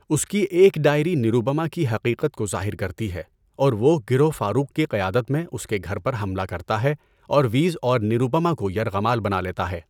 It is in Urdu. اس کی ایک ڈائری نروپما کی حقیقت کو ظاہر کرتی ہے اور وہ گروہ فاروق کی قیادت میں اس کے گھر پر حملہ کرتا ہے اور ویز اور نروپما کو یرغمال بنا لیتا ہے۔